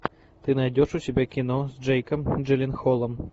ты найдешь у себя кино с джейком джилленхолом